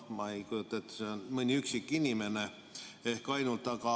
Ma ei kujuta ette, mõni üksik inimene ehk ainult loeb.